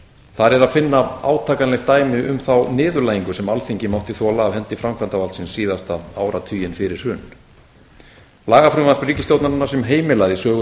þar er að finna átakanlegt dæmi um þá niðurlægingu sem alþingi mátti þola af hendi framkvæmdarvaldsins síðasta áratuginn fyrir hrun lagafrumvarp ríkisstjórnarinnar sem heimilaði söluna